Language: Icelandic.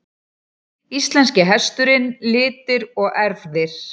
Íslenski hesturinn- litir og erfðir.